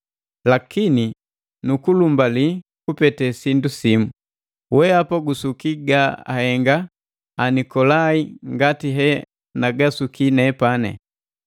Lakini nu kulumbali kupete sindu simu: Weapa gusuki ga ahenga Anikolai ngati he nagasuki nepani.”